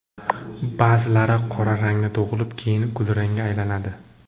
Ba’zilari qora rangda tug‘ilib, keyin kulrangga aylanadi.